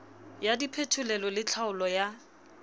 ya diphetolelo le tlhaolo ya